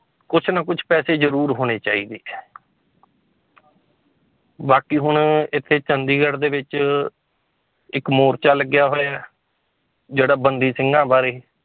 ਕੁਛ ਨਾ ਕੁਛ ਪੈਸੇ ਜ਼ਰੂਰ ਹੋਣੇ ਚਾਹੀਦੇ ਹੈ ਬਾਕੀ ਹੁਣ ਇੱਥੇ ਚੰਡੀਗੜ੍ਹ ਦੇ ਵਿੱਚ ਇੱਕ ਮੋਰਚਾ ਲੱਗਿਆ ਹੋਇਆ ਹੈ ਜਿਹੜਾ ਬੰਦੀ ਸਿੰਘਾਂ ਬਾਰੇ